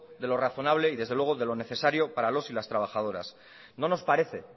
de lo razonable y desde luego de lo necesario para los y las trabajadoras no nos parece